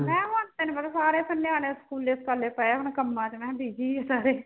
ਮੈਂ ਸਾਰੇ ਤਾਂ ਨਿਆਣੇ ਸਕੂਲੇ ਸਕਾਲੇ ਪਏ ਹੁਣ ਕੰਮਾਂ ਮੈਂ ਕਿਹਾ busy ਆ ਸਾਰੇ